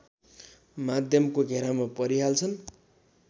माध्यमको घेरामा परिहाल्छन्